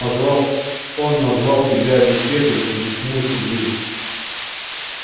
называл он назвал тебя дискеткой объяснил сергей